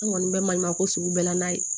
An kɔni bɛ maɲumanko sugu bɛɛ la n'a ye